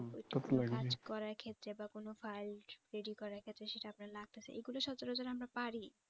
ঐটা আপনার কাজ করার ক্ষেত্রে বা কোন file ready করার ক্ষেত্রে সেটা আপনার লাগতেছে এগুলা সচারাচর আমরা পারি